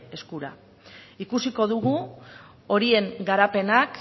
eskura ikusiko dugu horien garapenak